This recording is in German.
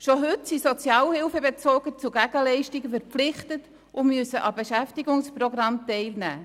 Schon heute sind Sozialhilfebezüger zu Gegenleistungen verpflichtet und müssen an Beschäftigungsprogrammen teilnehmen.